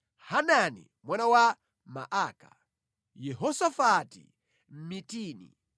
Hanani mwana wa Maaka, Yehosafati Mmitini,